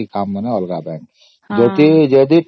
ଅଲଗା bank account ରେ କରିବ